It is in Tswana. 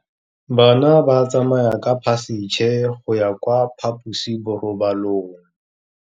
Bana ba tsamaya ka phašitshe go ya kwa phaposiborobalong.